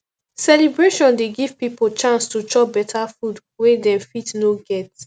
celebration dey give pipo chance to chop beta food wey dem fit no get